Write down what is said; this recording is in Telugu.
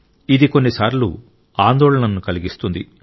ఇది కొన్నిసార్లు ఆందోళనను కలిగిస్తుంది